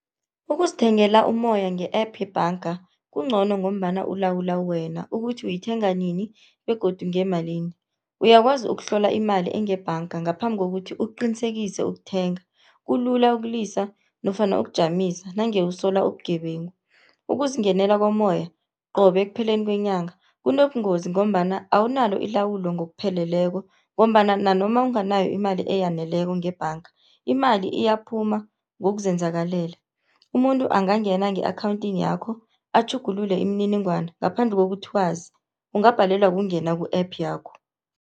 Ukuzithengela umoya nge-app yebhanga kuncono, ngombana ulawulwa wena ukuthi uyithenga nini begodu ngemalini. Uyakwazi ukuhlola imali engebhanga ngaphambi kokuthi uqinisekise ukuthenga. Kulula ukulisa nofana ukujamisa nange usola ubugebengu. Ukuzingenela kommoya qobe ekupheleni kwenyanga kunobungozi, ngombana awunalo ilawulo ngokupheleleko, ngombana nanoma unganayo imali eyaneleko ngebhanga imali iyaphuma ngokuzenzakalela. Umuntu angangena nge-akhawuntini yakho atjhugulule imininingwana ngaphandle kokuthi wazi, ungabhalelwa kungena ku-app yakho.